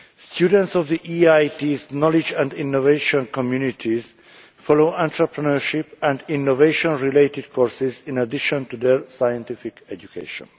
Students of the EIIT's knowledge and innovation communities follow entrepreneurship and innovation related courses in addition to their scientific education.